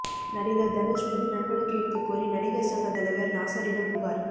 நடிகர் தனுஷ் மீது நடவடிக்கை எடுக்கக் கோரி நடிகர் சங்கத் தலைவர் நாசரிடம் புகார்